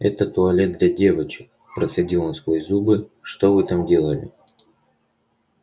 это туалет для девочек процедил он сквозь зубы что вы там делали